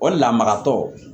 O lamaratɔ